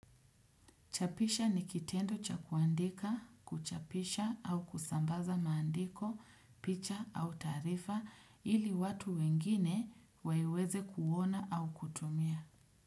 Chapisha ni kitendo cha kuandika, kuchapisha au kusambaza maandiko, picha au taarifa ili watu wengine waiweze kuona au kutumia.